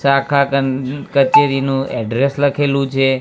ચાખાગન કચેરીનું એડ્રેસ લખેલું છે.